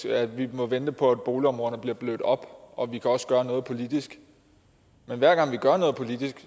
at vi må vente på at boligområderne bliver blødt op og at vi også kan gøre noget politisk men hver gang vi gør noget politisk